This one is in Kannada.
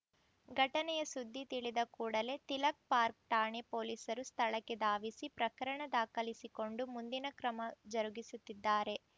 ಘಟನೆಯ ಸುದ್ದಿ ತಿಳಿದ ಕೂಡಲೇ ತಿಲಕ್‌ಪಾರ್ಕ್ ಠಾಣೆ ಪೊಲೀಸರು ಸ್ಥಳಕ್ಕೆ ಧಾವಿಸಿ ಪ್ರಕರಣ ದಾಖಲಿಸಿಕೊಂಡು ಮುಂದಿನ ಕ್ರಮ ಜರುಗಿಸುತ್ತಿದ್ದಾರೆ